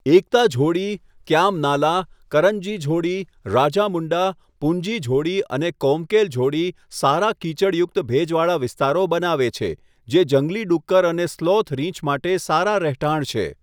એકતા ઝોડી, ક્યામ નાલા, કરંજી ઝોડી, રાજામુંડા, પુંજી ઝોડી અને કોમકેલ ઝોડી સારા કીચડયુક્ત ભેજવાળા વિસ્તારો બનાવે છે જે જંગલી ડુક્કર અને સ્લોથ રીંછ માટે સારા રહેઠાણ છે.